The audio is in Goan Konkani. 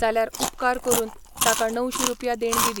जाल्यार उपकार करून ताका णवशीं रुपया देणगी दी.